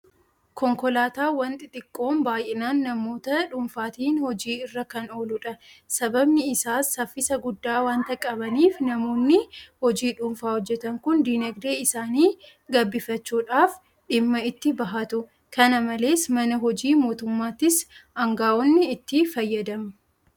Konkolaataawwan xixiqqoon baay'inaan namoota dhuunfaatiin hojii irra kan ooludha. Sababni isaas saffisa guddaa waanta qabaniif namoonni hojii dhuunfaa hojjetan kun diinagdee isaanii gabbifachuudhaaf dhimma itti bahatu. Kana malees mana hojii mootummaattis aanga'oonni itti fayyadamu.